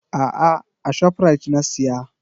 A'a, a Shoprite na siya.